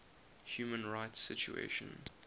human rights situation